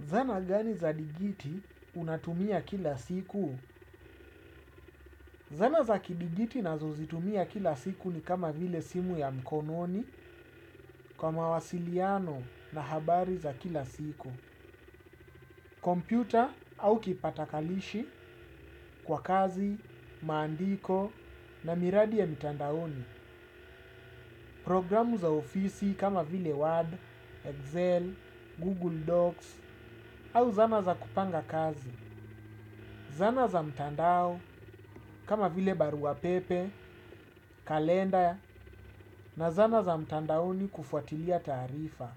Zana gani za digiti unatumia kila siku? Zana za kidigiti nazozitumia kila siku ni kama vile simu ya mkononi kwa mawasiliano na habari za kila siku. Kompyuta au kipatakalishi kwa kazi, maandiko na miradi ya mitandaoni. Programu za ofisi kama vile Word, Excel, Google Docs au zana za kupanga kazi. Zana za mtandao kama vile barua pepe, kalenda na zana za mtandaoni kufuatilia taarifa.